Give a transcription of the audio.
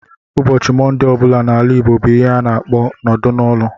Ụbọchị Mọnde ọ bụla n'ala Igbo bụ ihe ha na-akpọ nọdụ n'ụlọ